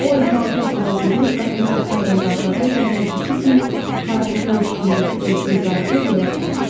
O ehmalcə otağa girib qapını açarla bağladı və həmişəki kimi portretin üstündəki örtüyü dartıb yerə saldı.